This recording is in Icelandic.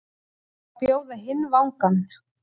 Að bjóða hinn vangann